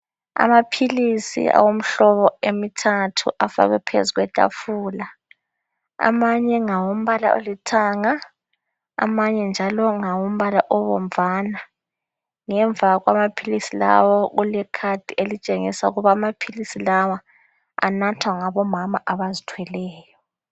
Amaphilisi awemihlobo emithathu afakwe phezu kwethafula. Amanye ngawombala olithanga ,amanye njalo ngawombala obomvana .Ngemva kwamaphilisi lawa kule khadi elitshengisa ukubana amaphilisi lawa anathwa ngabomama abazithweleyo.